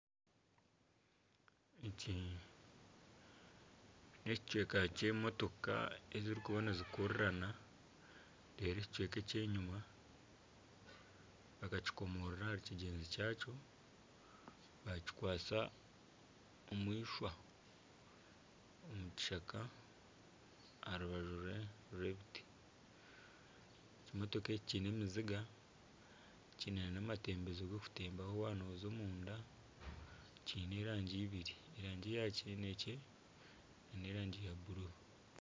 Eki n'ekicweka ky'emotoka ezirikuba nizikururana reero ekicweka ekyenyima bakakikomorora ahari kigyenzi kyakyo bakikwatsa omwishwa omukishaka aha rubaju rw'emiti. Ekimotoka eki kiine emiziga, kiine nana amatembezo g'okutemberaho waba noza omunda kiine erangi ibiri. Erangi eya kinekye, n'erangi eya bururu.